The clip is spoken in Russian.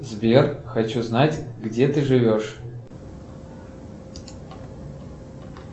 сбер хочу знать где ты живешь